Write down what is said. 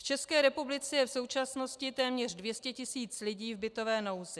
V České republice je v současnosti téměř 200 tisíc lidí v bytové nouzi.